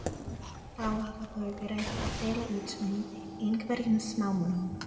Þá hafa þau verið að deila út af einhverjum smámunum.